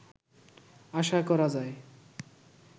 আশা করা যায়